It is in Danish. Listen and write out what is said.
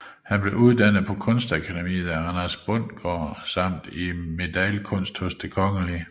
Han blev uddannet på Kunstakademiet af Anders Bundgaard samt i medaillekunst hos Den Kgl